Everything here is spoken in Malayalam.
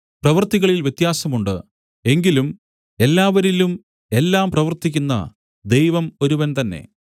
പ്രവൃത്തികളിൽ വ്യത്യാസം ഉണ്ട് എങ്കിലും എല്ലാവരിലും എല്ലാം പ്രവർത്തിക്കുന്ന ദൈവം ഒരുവൻ തന്നെ